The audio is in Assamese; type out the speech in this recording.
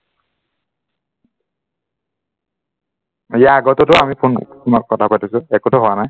ইয়াৰ আগতেতো আমি ফোনত কথা পাতিছো, একোতো হোৱা নাই